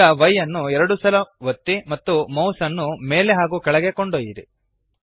ಈಗ Y ಅನ್ನು ಎರಡು ಸಲ ಒತ್ತಿ ಮತ್ತು ಮೌಸ್ಅನ್ನು ಮೇಲೆ ಹಾಗೂ ಕೆಳಗೆ ಕೊಂಡೊಯ್ಯಿರಿ